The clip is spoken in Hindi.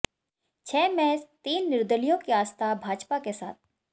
छह में तीन निर्दलियों की आस्था भाजपा के साथ